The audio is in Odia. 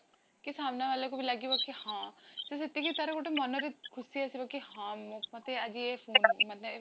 କି ସାମନା ବାଲା କୁ ବି ଲାଗିବବ କି ହଁ କି ସେତିକି ତାର ମନ ରେ ଖୁସି ଆସିବ କି ହଁ ମତେ ଆଜି ଯେ ମାନେ